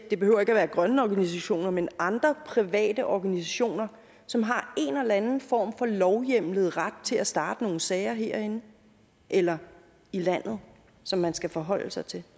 det behøver ikke være grønne organisationer men andre private organisationer som har en eller anden form for lovhjemlet ret til at starte nogle sager herinde eller i landet og som man skal forholde sig til